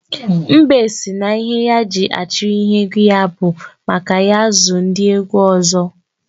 Mbe sị na ihe ya ji achiri ihe egwu ya bụ maka ya ezu ndị egwu ọzọ